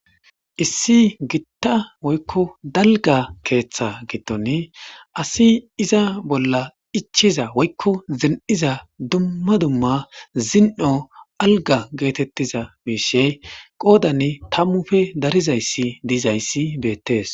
issi gitta woykko dalga keeththa giddon asi iza bolla ichiza woykko zin7iza dumma dumma zin7o alga geetettiza miishey qoodani tammufe darizayssi diizayssi beettees